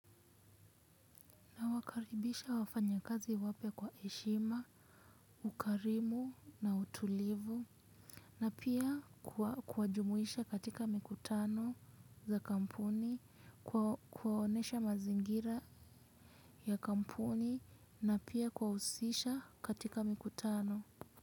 Wakaribisha wafanya kazi wape kwa eshima, ukarimu na utulivu, na pia kuajumuisha katika mikutano za kampuni, kuwaonesha mazingira ya kampuni, na pia kuawusisha katika mikutano.